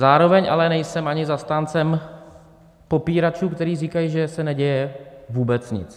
Zároveň ale nejsem ani zastáncem popíračů, kteří říkají, že se neděje vůbec nic.